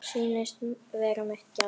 Og sýnist vera mitt gjald.